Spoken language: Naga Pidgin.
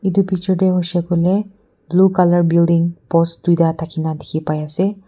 itu picture te hoishe koile blue color building post duita thakina dikhi pai ase.